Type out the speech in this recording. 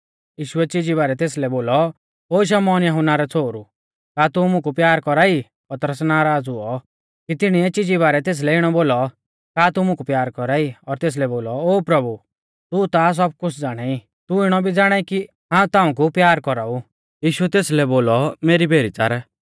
यीशुऐ चिजी बारै तेसलै बोलौ ओ शमौन यहुन्ना रै छ़ोहरु का तू मुकु प्यार कौरा ई पतरस नराज़ हुऔ कि तिणीऐ चिजी बारै तेसलै इणौ बोलौ का तू मुकु प्यार कौरा ई और तेसलै बोलौ ओ प्रभु तू ता सब कुछ़ ज़ाणाई तू इणौ भी ज़ाणाई कि हाऊं ताऊं कु प्यार कौराऊ यीशुऐ तेसलै बोलौ मेरी भेरी च़ार